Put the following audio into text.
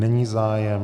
Není zájem.